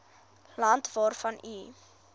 land waarvan u